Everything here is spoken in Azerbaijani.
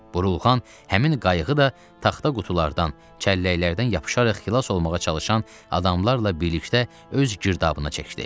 Burulğan həmin qayığı da taxta qutulardan, çəlləklərdən yapışaraq xilas olmağa çalışan adamlarla birlikdə öz girdabına çəkdi.